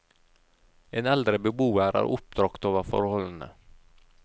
En eldre beboer er oppbragt over forholdene.